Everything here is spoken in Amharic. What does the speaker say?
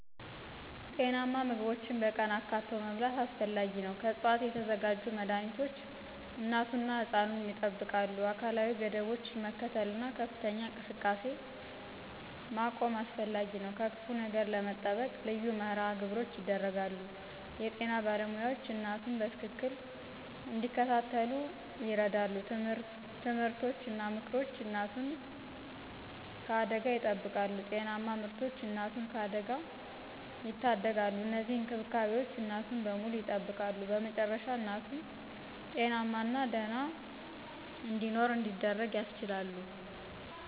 ጤናማ ምግቦችን በቀን አካትቶ መብላት አስፈላጊ ነው። ከዕፅዋት የተዘጋጁ መድኃኒቶች እናቱን እና ሕፃኑን ያጠብቃሉ። አካላዊ ገደቦችን መከተል እና ከፍተኛ እንቅስቃሴ መቆም አስፈላጊ ነው። ከክፉ ነገር ለመጠበቅ ልዩ መርሃ ግብሮች ይደረጋሉ። የጤና ባለሞያዎች እናቱን በትክክል እንዲከታተሉ ይረዱ። ትምህርቶች እና ምክሮች እናቱን ከአደጋ ይጠብቃሉ። ጤናማ ምርቶች እናቱን ከአደጋ ያደጋሉ። እነዚህ እንክብካቤዎች እናቱን በሙሉ ያጠብቃሉ። በመጨረሻ እናቱ ጤናማና ደህና እንዲኖር እንዲደረግ ያስችላሉ።